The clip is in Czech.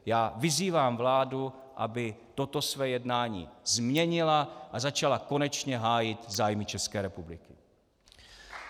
Já vyzývám vládu, aby toto své jednání změnila a začala konečně hájit zájmy České republiky.